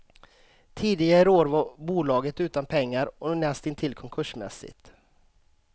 Tidigare i år var bolaget utan pengar och näst intill konkursmässigt.